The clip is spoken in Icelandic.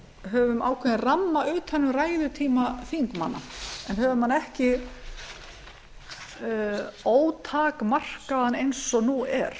höfum ákveðinn ramma um þennan ræðutíma þingmanna en höfum hann ekki ótakmarkaðan eins og nú er